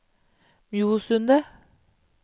Mjosundet